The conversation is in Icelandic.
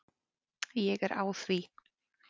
Ég er á því.